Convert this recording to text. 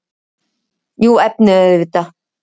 Jú, efnið auðvitað.